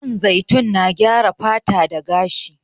Man zaitun na gyara fata da gashi.